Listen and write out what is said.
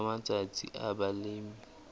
nakong ya matsatsi a balemi